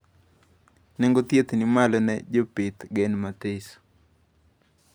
Nengo thieth ni malo ne jopidh gen mathiso